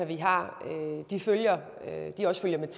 vi har jo set at